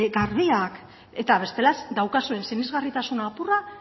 garbiak eta bestela daukazuen sinesgarritasun apurra